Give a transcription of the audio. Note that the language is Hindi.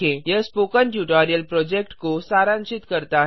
यह स्पोकन ट्यूटोरियल प्रोजेक्ट को सारांशित करता है